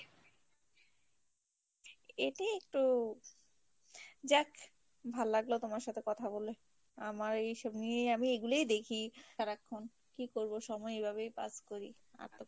এটি একটু, যাক, ভাল লাগলো তোমার সাথে কথা বলে, আমার এইসব নিয়ে, আমি এগুলোই দেখি সারাক্ষন কি করবো সময় এভাবেই pass করি আর তো